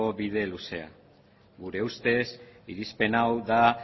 bide luzea gure ustez irizpen hau da